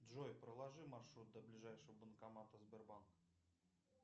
джой проложи маршрут до ближайшего банкомата сбербанк